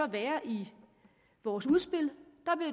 der i vores udspil